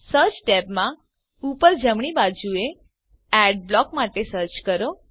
search ટેબમાં ઉપર જમણી બાજુએ એડબ્લોક માટે સર્ચ કરો